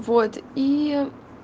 вот ии